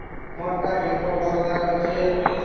ମୋର ତ Bank of Baroda ରେ ଅଛି